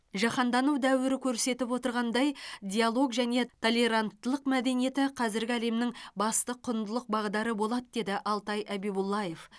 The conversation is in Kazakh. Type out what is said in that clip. жаһандану дәуірі көрсетіп отырғандай диалог және толеранттылық мәдениеті қазіргі әлемнің басты құндылық бағдары болады деді алтай әбибуллаев